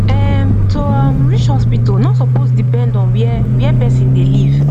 ehm to um reach hospital no suppose depend on where where person dey live